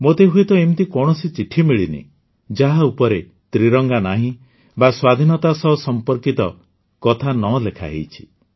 ମୋତେ ହୁଏତ ଏମିତି କୌଣସି ଚିଠି ମିଳିନି ଯାହା ଉପରେ ତ୍ରିରଙ୍ଗା ନାହିଁ ବା ସ୍ୱାଧୀନତା ସହ ସମ୍ପର୍କିତ କଥା ନ ଲେଖା ହୋଇଛି